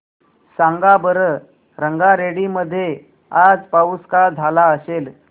सांगा बरं रंगारेड्डी मध्ये आज पाऊस का झाला असेल